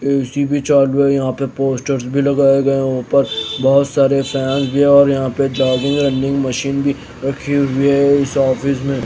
AC भी चालू है यहां पे पोस्टर्स भी लगाए गए हैं ऊपर बहुत सारे फैंस भी है और यहां पे चार्जिंग रनिंग मशीन भी रखी हुई है ऑफिस मे।